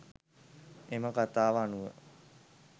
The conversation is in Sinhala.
එම කථාව අනුව